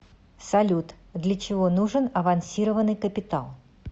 салют для чего нужен авансированный капитал